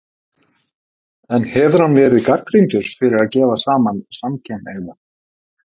En hefur hann verið gagnrýndur fyrir að gefa saman samkynhneigða?